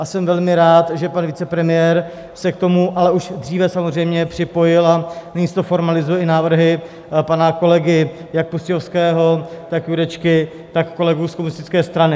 A jsem velmi rád, že pan vicepremiér se k tomu, ale už dříve samozřejmě, připojil a nyní se to formalizuje i návrhy pana kolegy jak Pustějovského, tak Jurečky, tak kolegů z komunistické strany.